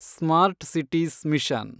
smart cities mission